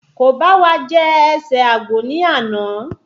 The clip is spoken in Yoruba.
Ko bá wa jẹ ẹsẹ àgbò ni ana